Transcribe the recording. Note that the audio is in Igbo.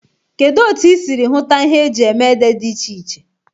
Kedu otu ị siri hụta ihe eji eme ede dị iche iche?